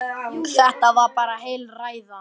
Þetta var bara heil ræða.